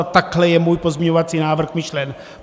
A takhle je můj pozměňovací návrh myšlen.